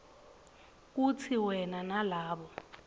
kutsi wena nalabo